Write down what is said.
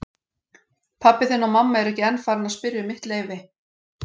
Pabbi þinn og mamma eru ekki enn farin að spyrja um mitt leyfi.